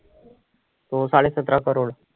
तो साडे सतरा crores